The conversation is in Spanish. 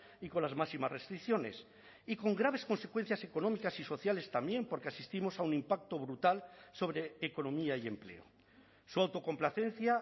y con las máximas restricciones y con graves consecuencias económicas y sociales también porque asistimos a un impacto brutal sobre economía y empleo su autocomplacencia